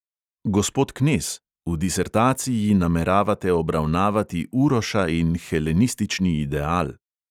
Gospod knez, v disertaciji nameravate obravnavati uroša in helenistični ideal.